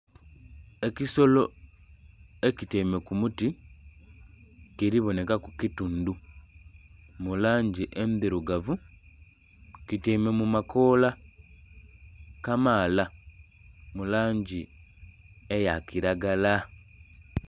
Ekisolo ekityaime ku muti kiri bonheka ku kitundhu mu langi endhirugavu kityaime mu makoola kamaala mu langi eya kilagala.